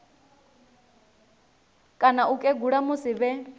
kana u kegula musi vhe